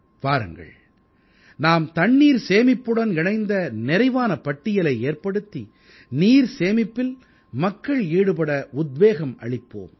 வாருங்கள் நாம் தண்ணீர் சேமிப்புடன் இணைந்த நிறைவான பட்டியலை ஏற்படுத்தி நீர் சேமிப்பில் மக்கள் ஈடுபட உத்வேகம் அளிப்போம்